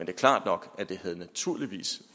er klart nok at det naturligvis